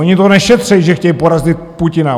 Oni to nešetří (?), že chtějí porazit Putina.